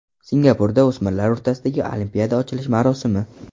Singapurda o‘smirlar o‘rtasidagi Olimpiada ochilish marosimi.